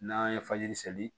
N'an ye fajiri seli